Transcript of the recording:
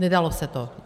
Nedalo se to.